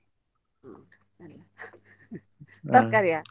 ತರ್ಕಾರಿಯಾ?